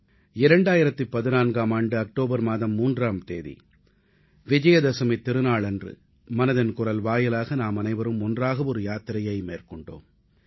2014ஆம் ஆண்டு அக்டோபர் மாதம் 3ஆம் தேதி விஜயதசமித் திருநாளன்று மனதின் குரல் வாயிலாக நாமனைவரும் ஒன்றாக ஒரு யாத்திரையை மேற்கொண்டோம்